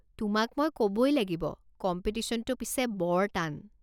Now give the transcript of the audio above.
তোমাক মই ক'বই লাগিব, কম্পিটিশ্যনটো পিছে বৰ টান।